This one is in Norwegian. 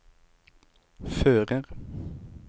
fører